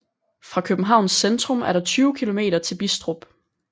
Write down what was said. Fra Københavns centrum er der 20 kilometer til Bistrup